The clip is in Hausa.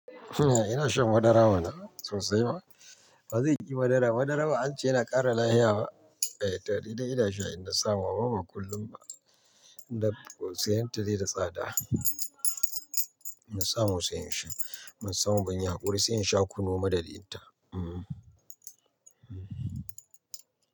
Ina shan madara bana sosai ma, wa zai ƙi madara? Madara ba ance yana ƙara lafiya ba? Eh tare da ina sha idan na samu, ba ba kullum ba. Tab siyan ta dai da tsada Inna samu sai in sha, in ba samu ba, inyi haƙuri sai in sha kunu madadin ta. Hmm.